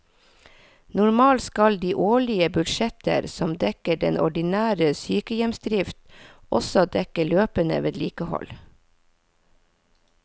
Normalt skal de årlige budsjetter som dekker den ordinære sykehjemsdrift også dekke løpende vedlikehold.